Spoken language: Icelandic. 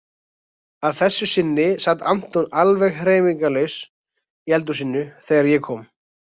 Að þessu sinni sat Anton alveg hreyfingarlaus í eldhúsinu þegar ég kom.